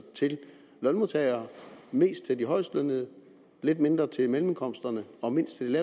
til lønmodtagere mest til de højestlønnede lidt mindre til mellemindkomsterne og mindst til